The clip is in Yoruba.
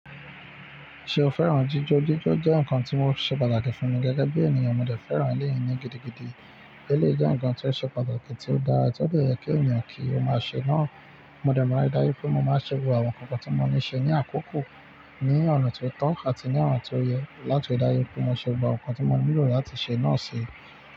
Ṣé o fẹ́ràn jíjọ́? Jíjọ́ jẹ́ nǹkan tí ó ṣe pàtàkì fún mi gẹ́gẹ́ bí ènìyàn. Mo dẹ̀ fẹ́ràn eléyìí ní gidigidi. Eleyi jẹ́ nǹkan tí o ṣe pàtàkì tí ó dára, ti ó dara ti o dẹ yẹ kí ènìyàn kí ó máa ṣe náà. Mo dẹ̀ máa ń rí daju pé mo máa ṣe gbogbo àwọn nǹkan tí mo ní ṣe ní àkókò, ní ọ̀nà ti ó tọ́ àti ní ọ̀nà ti ó yẹ láti dáyẹ́ pé mo ṣe gbogbo nǹkan tí mo nílò láti ṣe náà si.